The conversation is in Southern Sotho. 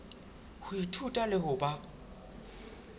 ho ithuta le ho ba